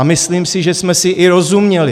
A myslím si, že jsme si i rozuměli.